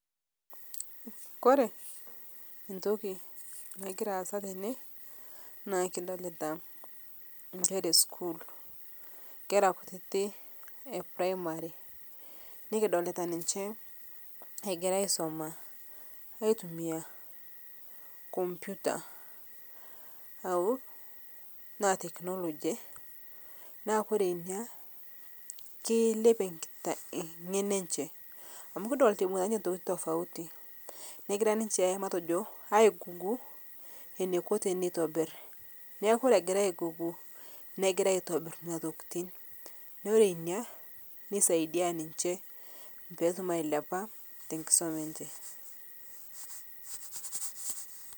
Kore ntoki nagira aasa tenee naa kidolita nkera eskuul nkera kutiti ee primary nikidolita ninshe egira aisoma aitumia computer aaku naa technology naa kore inia keilepie ng'eno enshe amu kidolita eibungita ninshe ntokitin tofauti negira ninshe matojo ai google neiko teneitobir naa kore egira ai google negira aitobir nenia tokitin naa orree inia neisaidia ninshe peetum ailiapaa tenkisoma enshe.